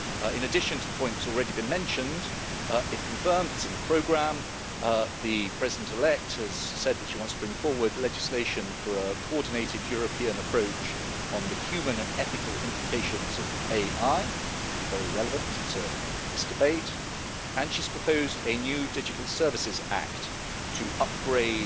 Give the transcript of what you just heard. In addition to the point that's already been mentioned, if confirmed it's in the programme, the President elect has said that she wants to bring forward legislation for a coordinated European approach on the human and ethical implications of AI, which would be very relevant to this debate, and she's proposed a new digital services act to upgrade